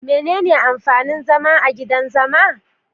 Menene amfanin zama a gidan zama?